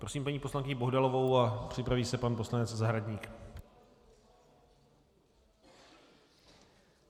Prosím paní poslankyni Bohdalovou a připraví se pan poslanec Zahradník.